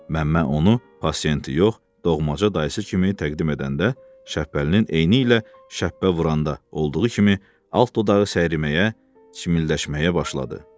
Məmmə onu pasiyenti yox, doğmaca dayısı kimi təqdim edəndə Şəpbəlinin eynilə şəpbə vuranda olduğu kimi alt dodağı səyriməyə, çimilləşməyə başladı.